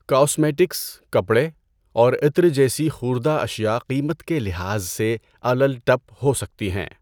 Cosmetics, کپڑے، اور عطر جیسی خوردہ اشیاء قیمت کے لحاظ سے الل ٹپ ہو سکتی ہیں۔